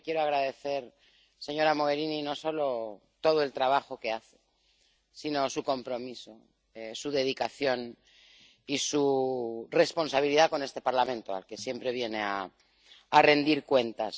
Yo le quiero agradecer, señora Mogherini, no solo todo el trabajo que hace, sino su compromiso, su dedicación y su responsabilidad con este Parlamento, al que siempre viene a rendir cuentas.